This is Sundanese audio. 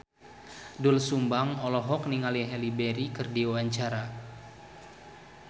Doel Sumbang olohok ningali Halle Berry keur diwawancara